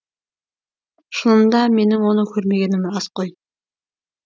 шынында менің оны көрмегенім рас қой